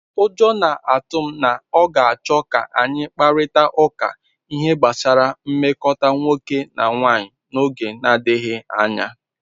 Ụjọ na-atụ m na ọ ga-achọ ka anyị kparịta ụka ihe gbasara nmekọta nwoke na nwanyị n'oge na-adịghị anya.